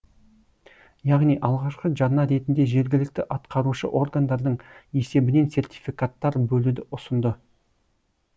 яғни алғашқы жарна ретінде жергілікті атқарушы органдардың есебінен сертификаттар бөлуді ұсынды